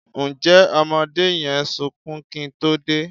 Ǹjẹ́ ọmọdé yẹn sunkún kí n tó dé?